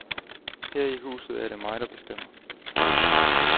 Her i huset er det mig, der bestemmer.